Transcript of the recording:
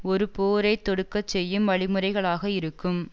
ஒரு போரை தொடுக்கச்செய்யும் வழிமுறைகளாக இருக்கும்